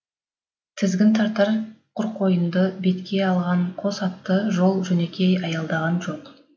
тізгін тартар құрқойынды бетке алған қос атты жол жөнекей аялдаған жоқ